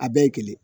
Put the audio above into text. A bɛɛ ye kelen